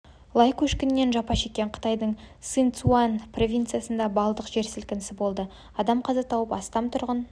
лай көшкінінен жапа шеккен қытайдың сычуань провинциясында баллдық жер сілкінісі болды адам қаза тауып астам тұрғын